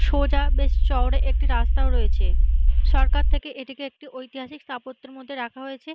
সোজা বেশ শহরে একটি রাস্তা রয়েছে। সরকার থেকে এটিকে একটি ঐতিহাসিক স্থাপত্যের মধ্যে রাখা হয়েছে।